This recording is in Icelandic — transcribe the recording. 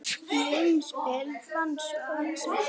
Í umspili vann svo Axel.